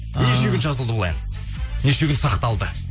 ыыы неше күн жазылды бұл ән неше күн сақталды